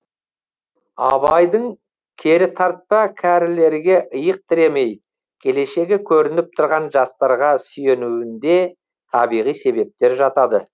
абайдың керітартпа кәрілерге иық тіремей келешегі көрініп тұрған жастарға сүйенуінде табиғи себептер жатады